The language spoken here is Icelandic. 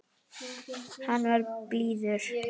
Hann var blíður.